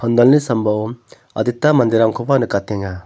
pandalni sambao adita manderangkoba nikatenga.